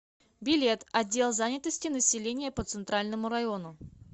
билет отдел занятости населения по центральному району